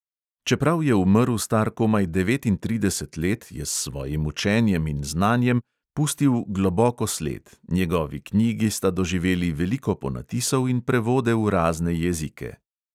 Čeprav je umrl star komaj devetintrideset let, je s svojim učenjem in znanjem pustil globoko sled, njegovi knjigi sta doživeli veliko ponatisov in prevode v razne jezike.